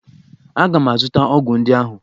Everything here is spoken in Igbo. Aga m azụta ọgwụ ndị ahụ!